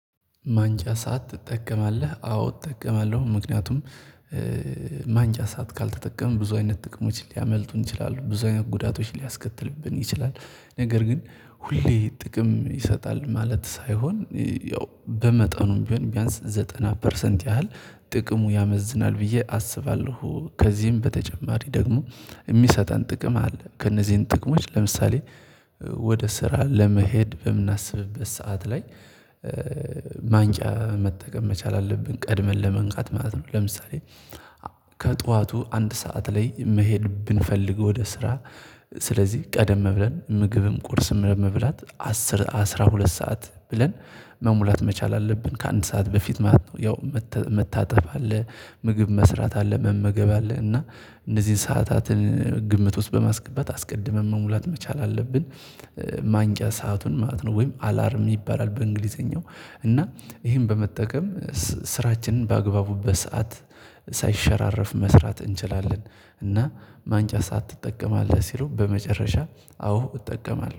ማንቂያ ሰዓት ትጠቀማለህ? አዎ እጠቀማለሁ ምክንያቱም ማንቂያ ሰዓት ካልተጠቀመ ብዙ አይነት ጥቅሞች ሊያመልጡን ይችላሉ ብዙ አይነት ጉዳቶች ሊያስከትልብን ይችላል። ነገር ግን ሁሌ ጥቅም ይሰጣል ማለት ሳይሆን ያው በመጠኑም ቢሆን ቢያንስ ዘጠና ፐርሰንት ያህል ጥቅሙ ያመዝናል ብዬ አስባለሁ ከዚህም በተጨማሪ ደግሞ የሚሰጠን ጥቅም አለ። ከእነዚህን ጥቅሞች ለምሳሌ ወደ ስራ ለመሄድ በምናስብበት ሰዓት ላይ ማንቂያ መጠቀም መቻል አለብን ቀድመን ለመንቃት ማለት ነው። ለምሳሌ ከጠዋቱ አንድ ሰዓት ላይ መሄድ ብንፈልገው ወደ ስራ ስለዚህ ቀደም ብለን ምግብም ቁርስም ለመብላት አስር አስራ ሁለት ሰዓት ብለን መሙላት መቻል አለብን ከአንድ ሰዓት በፊት ማለት ነው። ያው መታጠብ አለ ምግብ መስራት አለ መመገብ አለ እና እነዚህን ሰዓታትን ግምት ውስጥ በማስገባት አስቀድመን መሙላት መቻል አለብን። ማንቂያ ሰአቱን ማለት ነው ወይም አላርም ይባላል በእንግሊዘኛው እና ይሄን በመጠቀም ስራችንን በአግባቡበት ሰዓት ሳይሸራረፍ መስራት እንችላለን። እና ማንቂያ ሰዓት ትጠቀማለህ ሲሉ በመጨረሻ አዎ እጠቀማለሁ